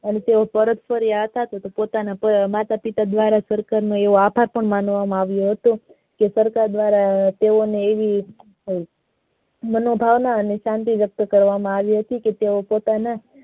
અને તે પોતાના ફરિયા હતા તે પોતાના માતા પિતા માટે સરકાર ને એવો આભાર માનવામાં આવીયો હતો કે સરકાર દ્વારા તેવો ને એવી માનો ભાવના અને સાધી વ્યક્ત કરવામાં આવી હતી કે તેવો પોતાના